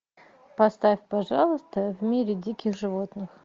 поставь пожалуйста в мире диких животных